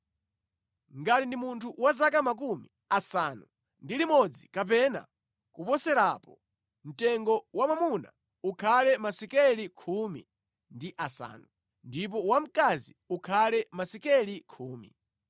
Ngati ndi munthu wa zaka makumi asanu ndi limodzi kapena kuposerapo, mtengo wa wamwamuna ukhale masekeli khumi ndi asanu, ndipo wamkazi ukhale masekeli khumi.